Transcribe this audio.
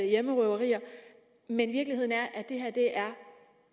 hjemmerøverier men virkeligheden er at det her